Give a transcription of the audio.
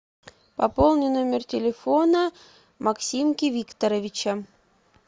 пополни номер телефона максимки викторовича